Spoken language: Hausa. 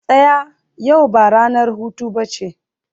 tsaya! yau ba ranar hutu ba ce